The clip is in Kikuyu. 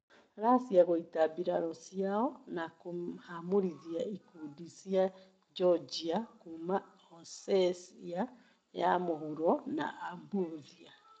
Racia gũita birarũ ciao na kũhamũrithia ikudi cia Jojia kuma Osecia ya mũhuro na Abuthia